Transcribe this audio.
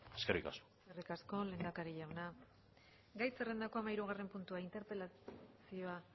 eskerrik asko eskerrik asko lehendakari jauna gai zerrendako hamahirugarren puntua interpelazioa